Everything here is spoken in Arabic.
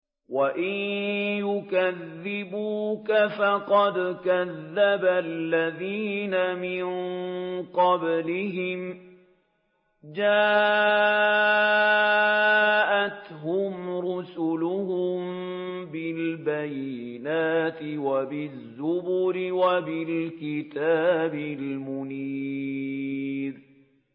وَإِن يُكَذِّبُوكَ فَقَدْ كَذَّبَ الَّذِينَ مِن قَبْلِهِمْ جَاءَتْهُمْ رُسُلُهُم بِالْبَيِّنَاتِ وَبِالزُّبُرِ وَبِالْكِتَابِ الْمُنِيرِ